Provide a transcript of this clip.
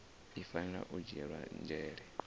i fanela u dzhiela nzhele